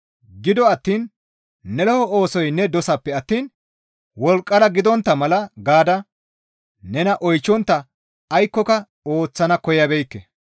Gido attiin ne lo7o oosoy ne dosanpe attiin wolqqara gidontta mala gaada nena oychchontta aykkoka ooththana koyabeekke.